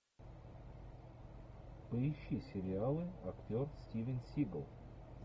поищи сериалы актер стивен сигал